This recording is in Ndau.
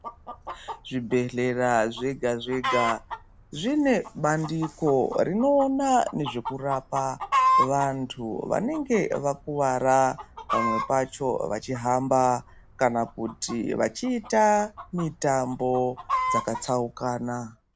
Zvibhedhlera zvega zvega zvine bandiko rinoona nezvekurapa vantu vanenge vakuwara pamwe pacho vachihamba kana kuti vachiita mitambo dzakatsaukana.